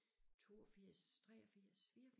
82 83 84